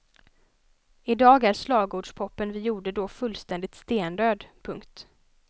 I dag är slagordspopen vi gjorde då fullständigt stendöd. punkt